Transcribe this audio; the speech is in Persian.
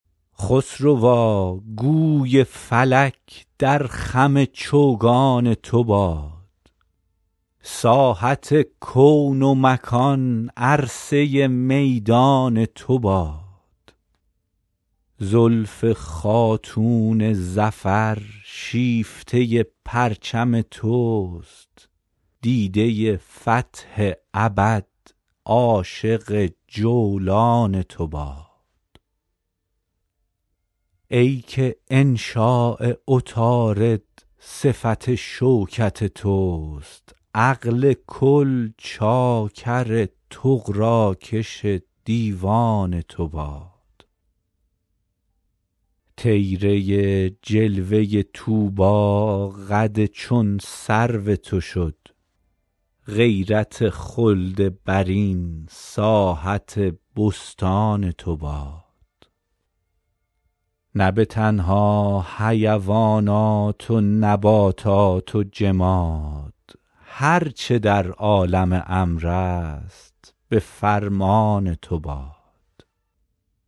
خسروا گوی فلک در خم چوگان تو باد ساحت کون و مکان عرصه میدان تو باد زلف خاتون ظفر شیفته پرچم توست دیده فتح ابد عاشق جولان تو باد ای که انشاء عطارد صفت شوکت توست عقل کل چاکر طغراکش دیوان تو باد طیره جلوه طوبی قد چون سرو تو شد غیرت خلد برین ساحت بستان تو باد نه به تنها حیوانات و نباتات و جماد هر چه در عالم امر است به فرمان تو باد